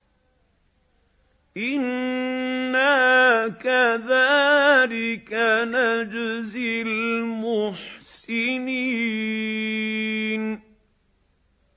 إِنَّا كَذَٰلِكَ نَجْزِي الْمُحْسِنِينَ